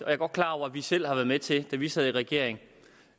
er godt klar over at vi selv har været medvirkende til da vi sad i regering